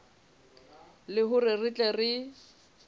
le hore re tle re